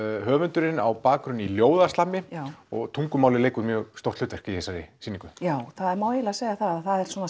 höfundurinn á bakgrunn í ljóða og tungumálið leikur mjög stórt hlutverk í þessari sýningu já það má eiginlega segja það að